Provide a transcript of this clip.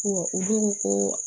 u don ko